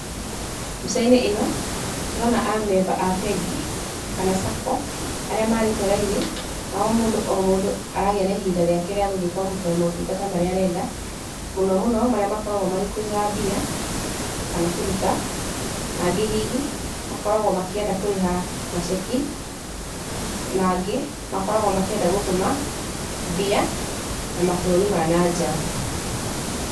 Mbica-inĩ ĩno, tũrona amemba a bengi, kana Sacco arĩa marĩte raini, na o mũndũ o mũndũ aragĩa na ihinda rĩake rĩa gũthiĩ kwamũkĩra motungata marĩa arenda, mũno mũno marĩa makoragwo marĩ kũiga mbia kana kũruta, nangĩ hihi makoragwo makĩenda kũrĩha na ceki, nangĩ makoragwo makĩenda gũtũma mbia na mabũrũri ma nanja.